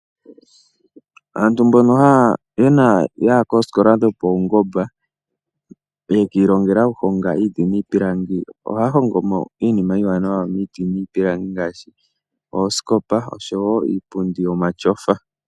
Aantu mboka ya hita koosikola dhopawungomba, noyi ilongela okuhonga iiti niipilangi, ohaya longitha ontseyo yawo okuhonga iinima iiwanawa miiti niipilangi ngaashi oosikopa oshowo iipundi yomatyofa.